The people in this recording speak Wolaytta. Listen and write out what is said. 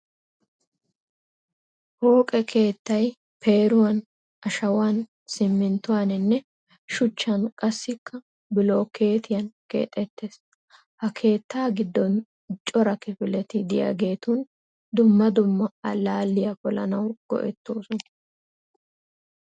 Pooqe keettay peeruwan, ashawan, simminttuwaaninne shuchchan qassikka bilookkeetiya keexettes. Ha keetta giddon cora kifileti diyageetun dumma dumma allaaliya polanawu go'ettoosona.